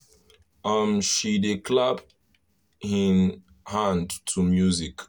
um she dey clap hin hand to music